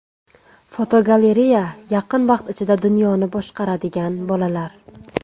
Fotogalereya: Yaqin vaqt ichida dunyoni boshqaradigan bolalar.